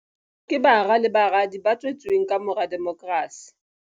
Ke bara le baradi ba tswe tsweng kamora demokrasi.